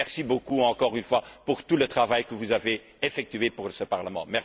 Merci beaucoup, encore une fois, pour tout le travail que vous avez effectué pour ce Parlement.